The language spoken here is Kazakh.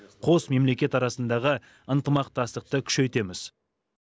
қос мемлекет арасындағы ынтымақтастықтықты күшейтеміз